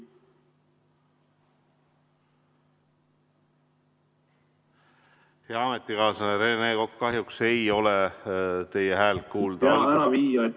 Hea ametikaaslane Rene Kokk, kahjuks ei ole teie häält kuulda.